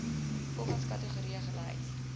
volgens kategorie gelys